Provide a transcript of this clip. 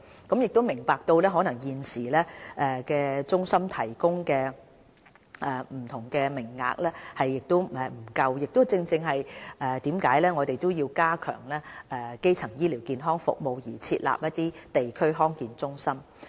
我們明白到中心現時提供的不同名額可能不足，所以決定加強基層醫療健康服務而設立地區康健中心。